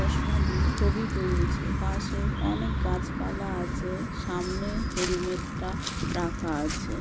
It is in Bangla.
চশমা দিয়ে ছবি তুলছে পাশে অনেক গাছপালা আছে | সামনে হেলমেটটা রাখা আছে ।